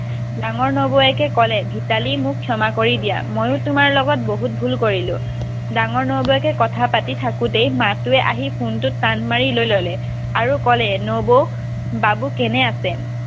ডাঙৰ নবৌৱেকে ক'লে ভিতালী মোক ক্ষমা কৰি দিয়া। ময়ো তোমাৰ লগত বহুত ভুল কৰিলোঁ। ডাঙৰ নবৌৱেকে কথা পাতি থাকোতে মাথোৱে আহি phone টো টান মাৰি লৈ ল'লে আৰু ক'লে নবৌ বাবু কেনে আছে